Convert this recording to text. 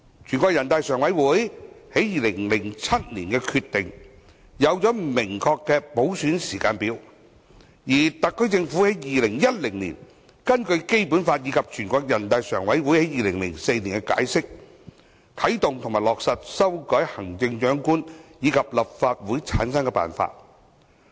全國人民代表大會常務委員會在2007年作出的決定，制訂明確的普選時間表，而特區政府在2010年根據《基本法》及人大常委會於2004年的解釋，啟動和落實修改行政長官及立法會的產生辦法。